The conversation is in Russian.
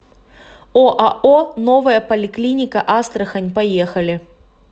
оао новая поликлиника астрахань поехали